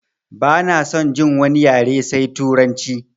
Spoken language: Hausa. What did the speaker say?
Bana son jin wani yare sai turanci!